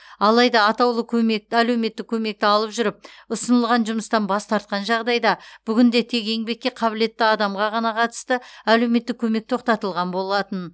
алайда атаулы көмек әлеуметтік көмекті алып жүріп ұсынылған жұмыстан бас тартқан жағдайда бүгінде тек еңбекке қабілетті адамға ғана қатысты әлеуметтік көмек тоқтатылған болатын